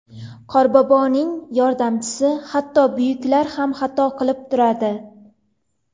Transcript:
Qorboboning yordamchisi Hatto buyuklar ham xato qilib turadi.